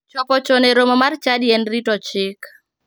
Chopo chon e romo mar chadi en rito chik.